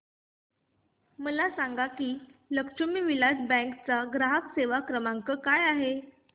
मला सांगा की लक्ष्मी विलास बँक चा ग्राहक सेवा क्रमांक काय आहे